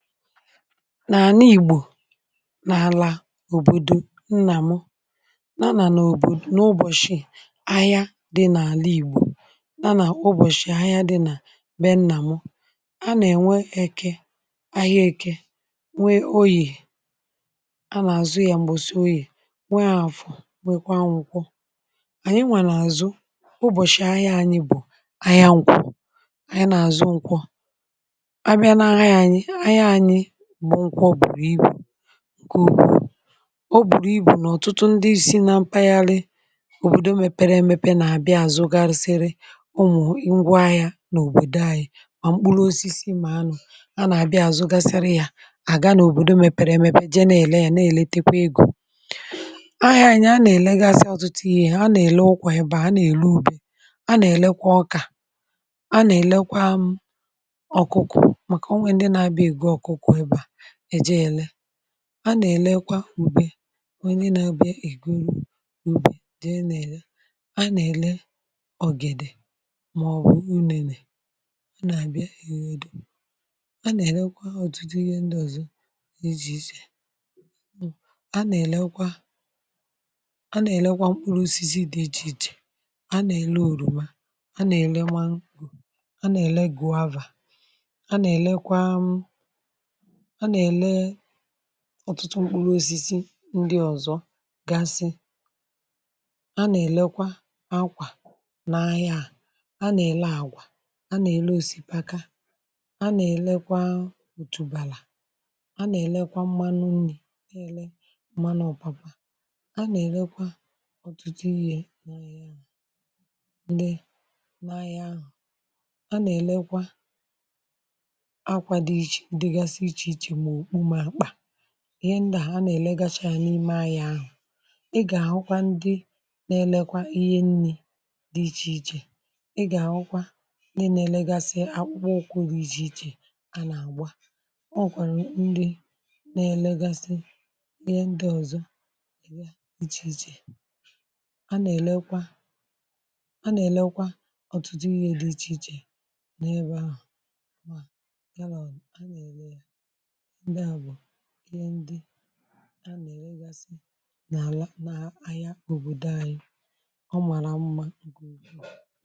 N’àna igbò, n’àlà òbòdò nnà mụ, nà ànà n’òbò n’ụbọ̀shị ahịa dị n’àla igbo, n’anà ụbọ̀shị ahịa dị nà m̀be nnà mụ. a nà ènwe eke ahịa eke nwe oyì a nà àzụ ya m̀gbọ̀sị oyì, nwe àfọ, nwekwa nwụkwọ. n’àna igbò n’àlà òbòdò nnà mụ nà ànà n’òbò n’ụbọ̀shị ahịa dị n’àla igbo n’anà ụbọ̀shị ahịa dị nà m̀be nnà mụ. a nà ènwe eke ahịa eke, nwe oyì a nà àzụ ya mbọsị ọye, nwèè afọ, nwekwa nkwọ. Anyị na azụ, ubọchị ahia anyị bụ ahịa nkwọ, anyị na azụ nkwọ, abịa na ahịa anyị, ahịa anyị bụ nkwọ bụrụ igbu̇ nke ụkwụ. ọ bụrụ igbu̇ nke bụ nà ọ̀tụtụ ndị si na mpaghara òbòdò mepere emepe na-àbịa àzụ gasịrị ụmụ̀ ngwa ahịa n’òbòdò ahịa mà mkpụrụ osisi mà anụ̇ a nà-àbịa àzụ gasịrị ya àga n’òbòdò mepere emepe jee na-èle ya na-èletekwa egȯ. ahịa anyị a nà-èle ga-asa ọ̀tụtụ ihe. a nà-èle ụkwà, ya bà a nà-èle ubì, a nà-èlekwa ọkà, a nà-èlekwa ọkụkụ, maka ọnwè ndị na abịa ebụ ọkụkụ n ejehie ele, a nà-èlekwa ùbe, a nà-èle nà-àbịa ègwuru ùbe jee nà-èle, a nà-èle ọ̀gèdè, màọbụ̀ unẹ̇nẹ̇, a nà-àbịa ère egwu̇, a nà-èlekwa ọ̀tụtụ ihe ndị ọ̀zọ n’iji̇ ichè. a nà-èlekwa a nà-èlekwa mkpụrụ osizi dị ichè ichè. a nà-èle òrùma, a na ele maṅgọ, a na ele guava, a nà-èlekwa um a nà-èlekwa ọ̀tụtụ mkpụrụ osisi ndi ọ̀zọ̀ gasị. A nà-èlekwa akwà n’ahịa, à a nà-èle àgwà, a nà-èle osisi paka, a nà-èlekwa òtùbàlà, a nà-èlekwa mmanụ nni̇, nà-èle mana ọ̀papa, a nà-èlekwa ọ̀tụtụ ihe ndi n’ahịa ahụ̀, a nà-èlekwa akwa dịgasị ịche ịche, ma ọkpụ, ma akpa, ihe ndà ha nà-èlegacha yȧ n’ime anyà ahụ̀. ịgà akwụkwọ ndị na-elekwa ihe nni̇ dị ichèichè, ịgà akwa ndị na-elekwa akpụkwọ ụkwụ̇ dị ichèichè a nà-àgba. ọ wụ̀kwàrà ndị na-elegasị ihe ndị ọ̀zọ èbe ichèichè, a nà-èlekwa a nà-èlekwa ọ̀tụtụ ihe dị ichèichè n’ebe ahụ̀. ihe ndị a nà-èregasị n’ala n’ahịa òbòdò anyị ọ màrà mma ugò.